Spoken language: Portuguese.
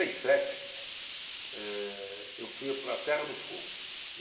E sete, eu fui para a Terra do Fogo.